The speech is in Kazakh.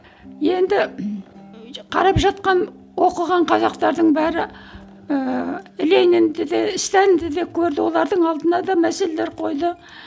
енді қарап жатқан оқыған қазақтардың бәрі ыыы ленинді де сталинді де көрді олардың алдына да мәселелер қойды